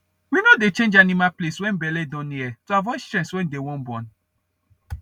we no dey change animal place when belle don near to avoid stress when they wan born